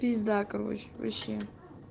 пизда короче вообще